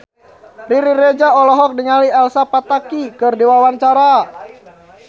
Riri Reza olohok ningali Elsa Pataky keur diwawancara